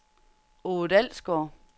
Ove Dalsgaard